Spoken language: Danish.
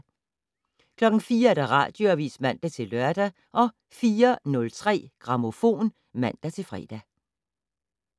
04:00: Radioavis (man-lør) 04:03: Grammofon (man-fre)